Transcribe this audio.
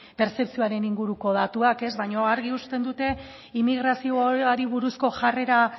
pertzepzioaren inguruko datuak baina argi uzten dute immigrazioari buruzko jarrera